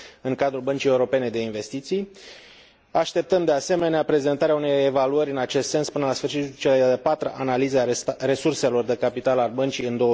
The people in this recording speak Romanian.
în cadrul Băncii Europene de Investiții. Așteptăm, de asemenea, prezentarea unei evaluări în acest sens până la sfârșitul celei de a patra analize a resurselor de capital al băncii în